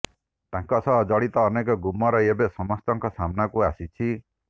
ତାଙ୍କ ସହ ଜଡ଼ିତ ଅନେକ ଗୁମର ଏବେ ସମସ୍ତଙ୍କ ସାମ୍ନାକୁ ଆସିଛି